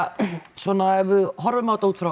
svona ef við horfum á þetta út frá